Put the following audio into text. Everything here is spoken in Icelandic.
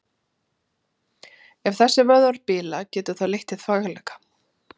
Ef þessir vöðvar bila getur það leitt til þvagleka.